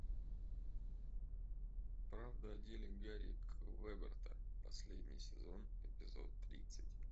правда о деле гарри квеберта последний сезон эпизод тридцать